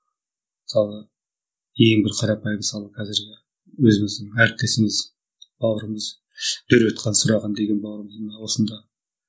мысалы ең бір қарапайым мысалы қазіргі өзіміздің әріптесіміз бауырымыз дөрбетхан сұраған деген бауырымыз мына осында